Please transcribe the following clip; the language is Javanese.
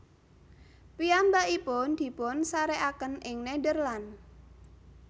Piyambakipun dipunsarékaken ing Nederland